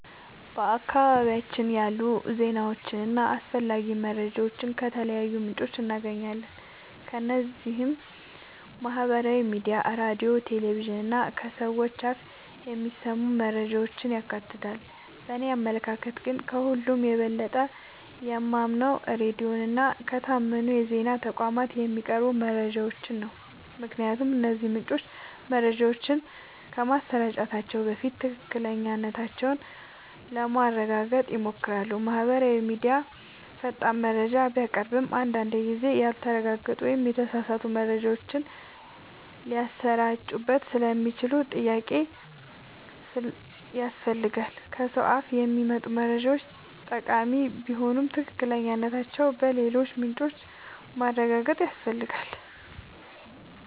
በአካባቢያችን ያሉ ዜናዎችንና አስፈላጊ መረጃዎችን ከተለያዩ ምንጮች እናገኛለን። እነዚህም ማህበራዊ ሚዲያ፣ ሬዲዮ፣ ቴሌቪዥን እና ከሰዎች አፍ የሚሰሙ መረጃዎችን ያካትታሉ። በእኔ አመለካከት ግን፣ ከሁሉ የበለጠ የማምነው ሬዲዮን እና ከታመኑ የዜና ተቋማት የሚቀርቡ መረጃዎችን ነው። ምክንያቱም እነዚህ ምንጮች መረጃዎችን ከማሰራጨታቸው በፊት ትክክለኛነታቸውን ለማረጋገጥ ይሞክራሉ። ማህበራዊ ሚዲያ ፈጣን መረጃ ቢያቀርብም፣ አንዳንድ ጊዜ ያልተረጋገጡ ወይም የተሳሳቱ መረጃዎች ሊሰራጩበት ስለሚችሉ ጥንቃቄ ያስፈልጋል። ከሰው አፍ የሚመጡ መረጃዎችም ጠቃሚ ቢሆኑ ትክክለኛነታቸውን በሌሎች ምንጮች ማረጋገጥ ያስፈልጋል።